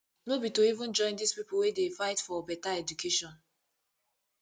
no be to even join dis pipu wey dey fight fore beta education